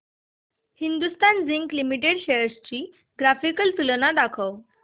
Hindustan zinc limited shares ची graphical तुलना दाखव